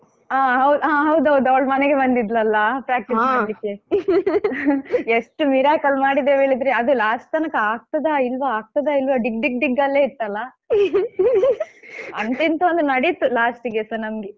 ಹಾ ಹೌದು ಹಾ ಹೌದೌದು ಅವ್ಳು ಮನೆಗೆ ಬಂದಿದ್ಲಲ್ಲಾ practice ಮಾಡಲಿಕ್ಕೆ ಎಷ್ಟು miracle ಮಾಡಿದ್ದೇವೆ ಹೇಳಿದ್ರೆ ಅದು last ತನಕ ಆಗ್ತದ ಇಲ್ವಾ ಆಗ್ತದ ಇಲ್ವಾ ಡಿಗ್ ಡಿಗ್ ಡಿಗ್ ಅಲ್ಲೇ ಇತ್ತಲ್ಲಾ ಅಂತೂ ಇಂತೂ ಒಂದು ನಡೀತು last ಗೆಸ ನಮ್ದು.